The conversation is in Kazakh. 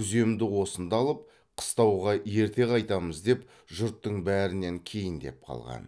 күземді осында алып қыстауға ерте қайтамыз деп жұрттың бәрінен кейіндеп қалған